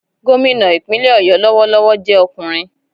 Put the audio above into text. Gómìnà ìpínlẹ̀ ọ̀yọ́ lọwọlọwọ jẹ ọkùnrin.